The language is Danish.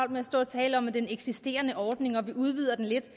med at stå og tale om den eksisterende ordning og sige at vi udvider den lidt